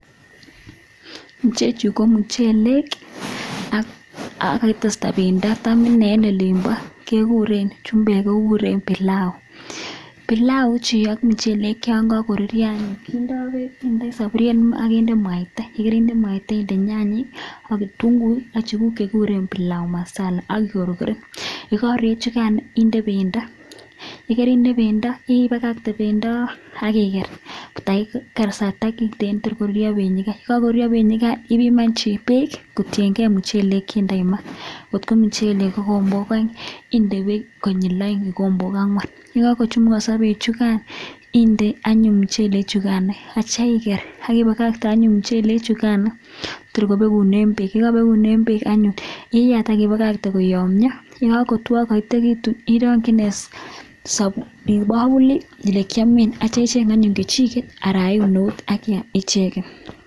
chechuu komuchelek ak kakitesta pendoo chumbbekk kokureen pilau kindee pendoo ak ibakaten ak kinde mucheleek kochumugansaaa ak kongotuook komagat kochumugansaqaa